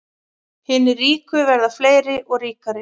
Hinir ríku verða fleiri og ríkari